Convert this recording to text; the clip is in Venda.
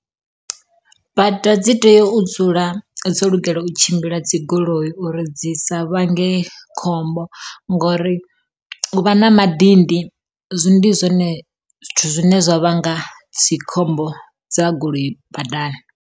Bada dzi tea u dzula dzo lugela u tshimbila dzi goloi uri dzi sa vhange khombo ngori u vha na madindi, ndi zwone zwithu zwine zwa vhanga dzikhombo dza goloi badani.